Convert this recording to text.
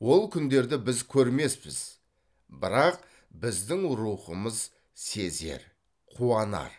ол күндерді біз көрмеспіз бірақ біздің рухымыз сезер қуанар